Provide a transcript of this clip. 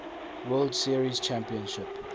world series championship